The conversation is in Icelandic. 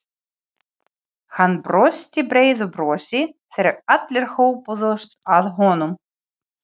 Hann brosti breiðu brosi þegar allir hópuðust að honum.